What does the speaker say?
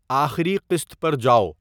آخری قسط پر جاؤ